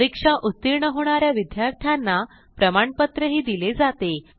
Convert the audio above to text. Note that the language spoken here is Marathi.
परीक्षा उत्तीर्ण होणा या विद्यार्थ्यांना प्रमाणपत्रही दिले जाते